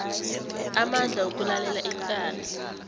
amandla wokulalela icala